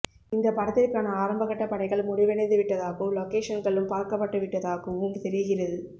இந்த படத்திற்கான ஆரம்பகட்ட பணிகள் முடிவடைந்து விட்டதாகவும் லொகேஷன்களும் பார்க்கபட்டுவிட்டதாகவும் தெரிகிறது